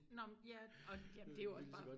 Nå men ja og jamend et jo også bare